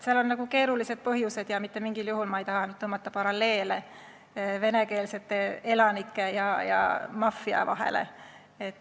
Seal on keerulised põhjused ja mitte mingil juhul ei taha ma tõmmata paralleele venekeelsete elanike ja maffia vahele.